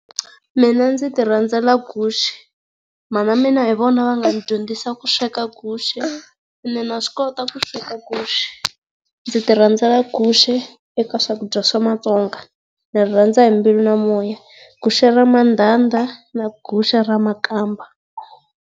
Mina ndzi ti rhandza guxe. Mhana mina hi vona va nga ndzi dyondzisa ku sweka guxe. Ene na swi kota ku sweka guxe. Ndzi ti rhandzela guxe eka swakudya swa Matsonga, na rirhandza hi mbilu na moya. Guxe ra mandhandha na guxe ra makamba.